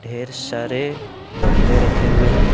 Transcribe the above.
ढेर सारे गमले रखे हुए हैं।